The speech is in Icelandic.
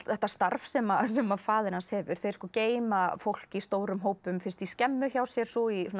þetta starf sem sem faðir hans hefur þeir geyma fólk í stórum hópum fyrst í skemmu hjá sér svo í svona